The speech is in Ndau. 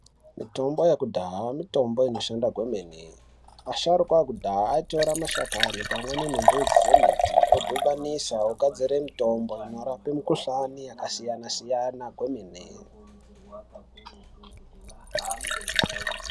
Mitombo yekudhaya mitombo inoshanda kwemene asharukwa ekudhaya aitora mashakani pamweni nembidzi dzemuti vodhibanisa vogadzira mutombo vanorapa mikuhlani yakasiyana-siyana kwemene.